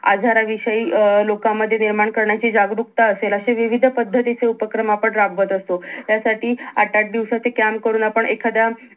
आजाराविषयी अं लोकांमध्ये निर्माण करण्याची जागरूकता असेल असे विविध पद्धतीचे उपक्रम आपण राबवत असतो त्या साठी आठ-आठ दिवसाचे camp करून आपण एखाद्या